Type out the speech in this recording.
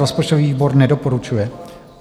Rozpočtový výbor nedoporučuje.